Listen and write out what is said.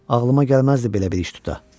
Ağlıma gəlməzdi belə bir iş tuta.